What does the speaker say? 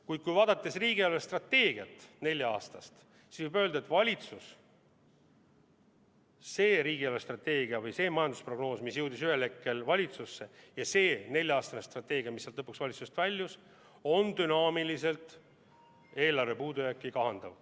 Kuid kui vaadata riigi nelja-aastast eelarvestrateegiat, kõigepealt seda majandusprognoosi, mis jõudis ühel hetkel valitsusse, ja siis seda nelja-aastast strateegiat, mis lõpuks valitsusest väljus, siis võib öelda, et see on dünaamiliselt eelarve puudujääki kahandav.